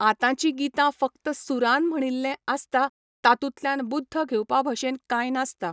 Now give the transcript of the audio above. आतांची गितां फक्त सुरान म्हणिल्लें आसता तातुल्यान बुध्द घेवपा भशेन कांय नासता